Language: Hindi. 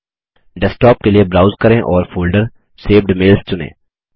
डेस्क्टॉप के लिए ब्राउज करें और फोल्डर सेव्ड मेल्स चुनें